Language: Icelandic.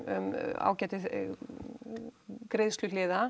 ágæti